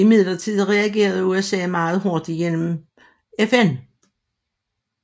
Imidlertid reagerede USA meget hurtigt gennem FN